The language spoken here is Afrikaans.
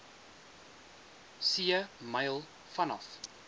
see myl vanaf